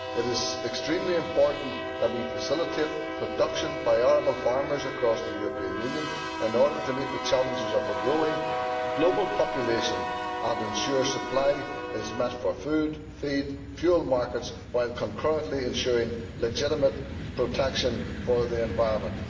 It is extremely important that we facilitate production by arable farmers across the European Union in order to meet the challenges of a growing global population and ensure that the demand is met for food, feed and fuel markets while concurrently ensuring legitimate protection for the environment.